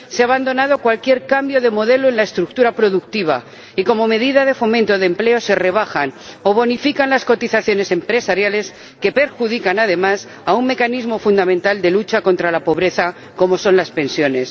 Se ha abandonado cualquier cambio de modelo en la estructura productiva y, como medida de fomento de empleo, se rebajan o bonifican las cotizaciones empresariales, que perjudican, además, a un mecanismo fundamental de lucha contra la pobreza, como son las pensiones.